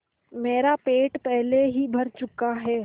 मेरा पेट पहले ही भर चुका है